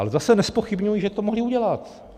Ale zase nezpochybňuji, že to mohli udělat.